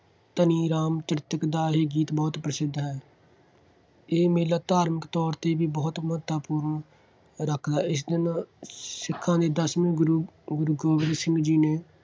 ਧਨੀ ਰਾਮ ਚ੍ਰਿਤਕ ਦਾ ਇਹ ਗੀਤ ਬਹੁਤ ਪ੍ਰਸਿੱਧ ਹੈ। ਇਹ ਮੇਲਾ ਧਾਰਮਿਕ ਤੌਰ 'ਤੇ ਵੀ ਬਹੁਤ ਮਹੱਤਤਾ-ਪੂਰਨ ਰੱਖਚਾ ਹੈ। ਇਸ ਦਿਨ ਸਿੱਖਾਂ ਦੇ ਦਸਵੇਂ ਗੁਰੂ ਗੁਰੂ ਗੋਬਿੰਦ ਸਿੰਘ ਜੀ ਨੇ